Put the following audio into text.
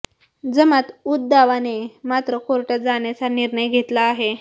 जमात उद दावाने मात्र कोर्टात जाण्याचा निर्णय घेतला आहे